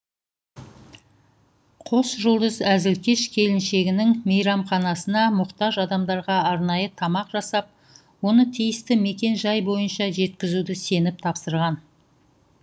қос жұлдыз әзілкеш келіншегінің мейрамханасына мұқтаж адамдарға арнайы тамақ жасап оны тиісті мекен жай бойынша жеткізуді сеніп тапсырған